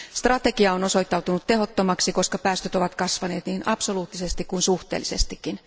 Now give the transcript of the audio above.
Strategia on osoittautunut tehottomaksi, koska päästöt ovat kasvaneet niin absoluuttisesti kuin suhteellisestikin.